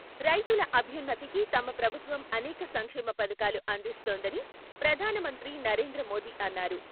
రైతుల అభ్యున్నతికి తమ ప్రభుత్వం అనేక సంక్షేమ పథకాలు అందిస్తోందని ప్రధాన మంత్రి నరేంద్ర మోదీ అన్నారు.